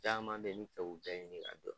Caman beyi n bi fɛ k'u bɛɛ ɲini k'a dɔn.